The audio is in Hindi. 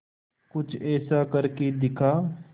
कुछ ऐसा करके दिखा